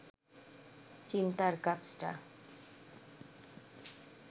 চিন্তার কাজটা